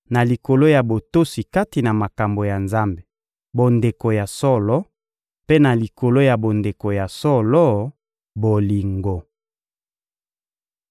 na likolo ya botosi kati na makambo ya Nzambe, bondeko ya solo; mpe na likolo ya bondeko ya solo, bolingo.